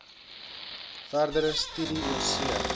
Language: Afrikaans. verdere studie oorsee